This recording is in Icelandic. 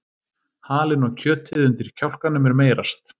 Halinn og kjötið undir kjálkanum er meyrast.